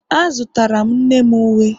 A zụtara m nne m uwe